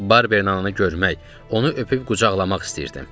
Barberin ananı görmək, onu öpüb qucaqlamaq istəyirdim.